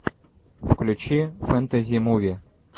включи фэнтези муви